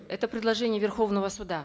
это предложение верховного суда